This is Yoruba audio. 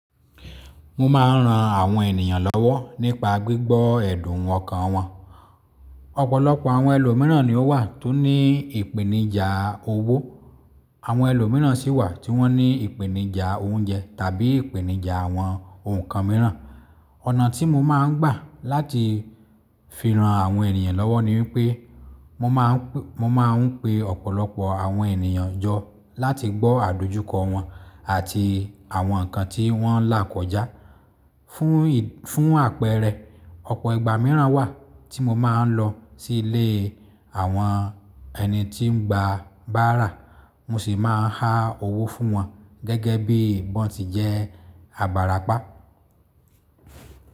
Mo máa ń ran àwọn ènìyàn lọ́wọ́ nípa gbígbọ́ ẹ̀dun ọkàn wọn. Ọ̀pọ̀lọpọ̀ àwọn ẹlòmíràn ni ó wà tó ní ìpèníjà owó, àwọn ẹlòmíràn sì wà tí wọ́n ní ìpèníjà oúnjẹ tàbí ìpèníjà àwọn ǹkan mìíràn. Ọ̀nà tí mo máa ń gbà láti fi ran àwọn ènìyàn lọ́wọ́ ni wípé mo máa ń pe ọ̀pọ̀lọpọ̀ àwọn ènìyàn jọ láti gbọ́ àdójúkọ wọn àti àwọn nǹkan tí wọ́n là kọjá. Fún àpẹẹrẹ, ọ̀pọ̀ ìgbà mìíràn wà tí mo máa ń lọ sí ilé àwọn ẹni tí ń gba bàárà, mo sì máa há owó fún wọn gẹ́gẹ́ bí wọ́n ti jẹ́ abarapá.